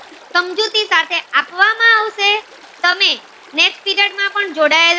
તમે next period માં પણ જોડાયેલા